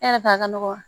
E yɛrɛ t'a ka nɔgɔ